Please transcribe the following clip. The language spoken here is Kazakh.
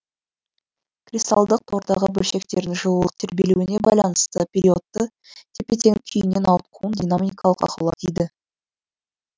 кристалдық тордағы бөлшектердің жылулық тербелуіне байланысты периодты тепе теңдік күйінен ауытқуын динамикалық ақаулар дейді